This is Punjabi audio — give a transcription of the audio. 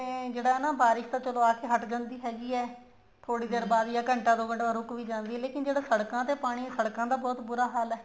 ਇਹ ਜਿਹੜਾ ਬਾਰਿਸ਼ ਤਾਂ ਚਲੋ ਆਕੇ ਹੱਟ ਜਾਂਦੀ ਹੈਗੀ ਹੈ ਥੋੜੀ ਦੇਰ ਬਾਅਦ ਜਾਂ ਘੰਟਾ ਦੋ ਘੰਟੇ ਰੁਕ ਵੀ ਜਾਂਦੀ ਹੈ ਲੇਕਿਨ ਜਿਹੜਾ ਸੜਕਾਂ ਤੇ ਪਾਣੀ ਸੜਕਾਂ ਤੇ ਤਾਂ ਬਹੁਤ ਬੁਰਾ ਹਾਲ ਹੈ